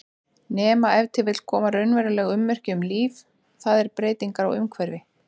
Nema ef til koma raunveruleg ummerki um líf, það er breytingar á umhverfi.